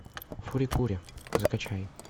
фури кури закачай